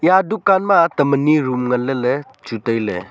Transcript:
ta dukan ma tam ani room nganley ley chu tailey.